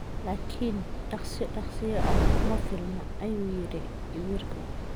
Laakiin "dhaqso dhaqsiyo ah" kuma filna, ayuu yiri khabiirku.